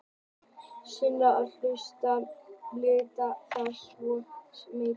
Seinni hluti spurningarinnar lýtur að því hvort útvarpa megi símtali.